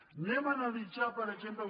anem a analitzar per exemple